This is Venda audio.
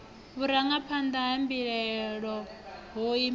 vhurangaphanḓa ha mbilahelo ho imaho